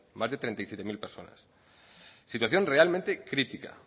más de treinta y siete mil personas situación realmente crítica